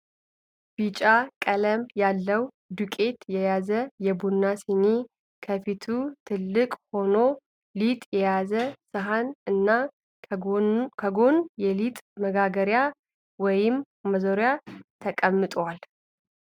ቢጫ ቀለም ያለዉ ዱቄት የያዘ የቡና ሲኒ ከፊቱ ትልቅ ሆኖ ሊጥ የያዘ ሰሀን እና ከጎን የሊጥ መጋገሪያ ወይም ማዞሪያ ተቀምጠዋል።